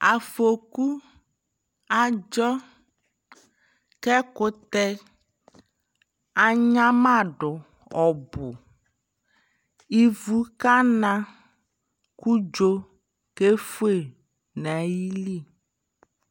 Afɔku adzɔ, kɛ kutɛ anyama du ɔbuIvu kana ku dzo kɛ fue na yi li